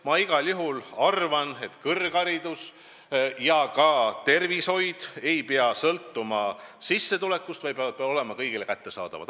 Ma igal juhul arvan, et kõrgharidus ja ka arstiabi ei pea sõltuma sissetulekust, need peavad olema kõigile kättesaadavad.